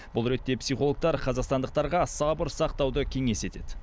бұл ретте психологтар қазақстандықтарға сабыр сақтауды кеңес етеді